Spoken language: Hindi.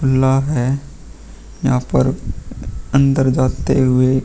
ला है। यहाँ पर अंदर जाते हुए --